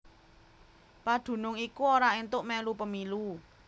Padunung iku ora éntuk mèlu pemilu